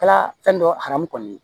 Kɛla fɛn dɔ aramu ye